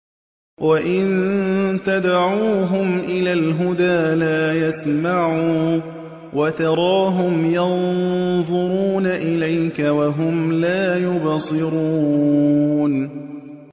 وَإِن تَدْعُوهُمْ إِلَى الْهُدَىٰ لَا يَسْمَعُوا ۖ وَتَرَاهُمْ يَنظُرُونَ إِلَيْكَ وَهُمْ لَا يُبْصِرُونَ